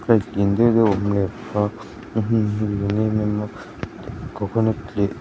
slide lian deuh deuh a awm leh bawk a a hmun hi nuam êm êm a kawkawnat leh--